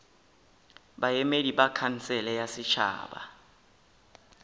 baemedi ba khansele ya setšhaba